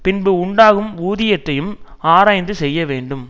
பின்பு உண்டாகும் ஊதியத்தையும் ஆராய்ந்து செய்ய வேண்டும்